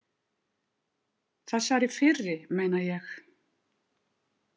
Þessari fyrri meina ég.